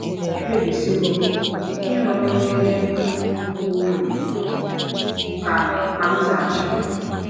“ Ekpebisiwo m ike ịrụ ọrụ n’ebe mkpa ka ukwuu, ” ka ka m zaghachiri.